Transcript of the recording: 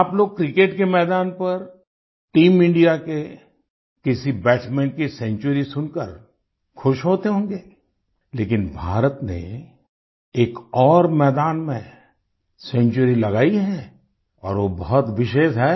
आप लोग क्रिकेट के मैदान पर टीम इंडिया के किसी बैट्समैन की सेंचुरी सुन कर खुश होते होंगे लेकिन भारत ने एक और मैदान में सेंचुरी लगाई है और वो बहुत विशेष है